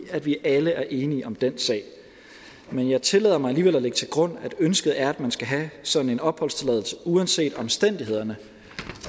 at vi alle er enige om den sag men jeg tillader mig alligevel at lægge til grund at ønsket er at man skal have sådan en opholdstilladelse uanset omstændighederne